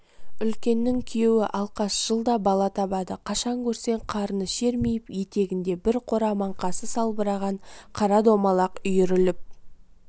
үлкеннің күйеуі алкаш жылда бала табады қашан көрсең қарыны шермиіп етегінде бір қора маңқасы салбыраған қара домалақ үйіріліп